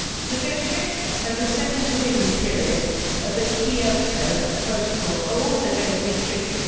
Negotiations over the second commitment period of the Kyoto Protocol are also going to be tricky.